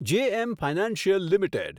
JM financial limited